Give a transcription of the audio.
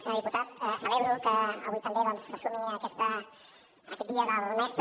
senyor diputat celebro que avui també doncs se sumi a aquest dia del mestre